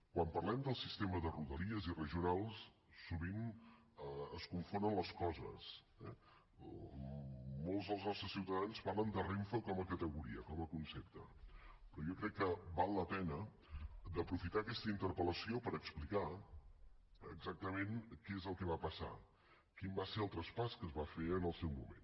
quan parlem del sistema de rodalies i regionals sovint es confonen les coses eh molts dels nostres ciutadans parlen de renfe com a categoria com a concepte però jo crec que val la pena d’aprofitar aquesta interpel·lació per explicar exactament què és el que va passar quin va ser el traspàs que es va fer en el seu moment